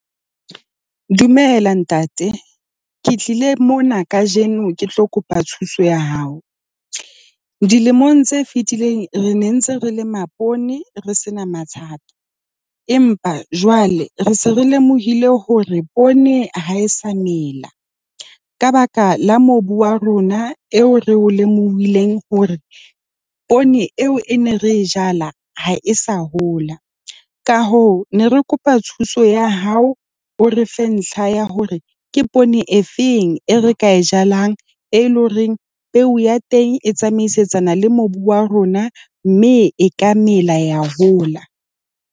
Dumela, ntate. Ke tlile mona kajeno ke tlo kopa thuso ya hao. Dilemong tse fetileng re ne re ntse re lema poone, re se na mathata. Empa jwale re se re lemohile hore poone ha e sa mela ka baka la mobu wa rona eo re o lemohile hore poone eo e ne re jala ha e sa hola. Ka hoo re ne re kopa thuso ya hao. O re fe ntlha ya hore ke poone e feng e re ka e jalang, e leng hore peo ya teng e tsamaisetsana le mobu wa rona, mme e ka mela, ya hola.